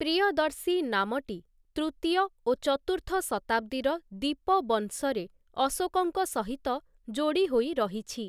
ପ୍ରିୟଦର୍ଶୀ ନାମଟି ତୃତୀୟ ଓ ଚତୁର୍ଥ ଶତାବ୍ଦୀର 'ଦୀପବଂସ'ରେ ଅଶୋକଙ୍କ ସହିତ ଯୋଡ଼ି ହୋଇ ରହିଛି ।